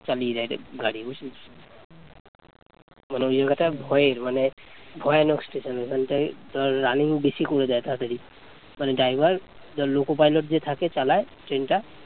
মানে ওই জায়গাটা ভয়ের মানে ভয়ানক স্টেশন, ওখানটায় running বেশি করে দেয় তাড়াতাড়ি মানে ড্রাইভার, ধর loco pilot যে থাকে চালায় ট্রেন টা